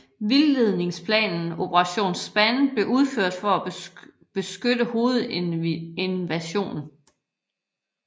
Vildledningsplanen Operation Span blev udført for at beskytte hovedinvasionen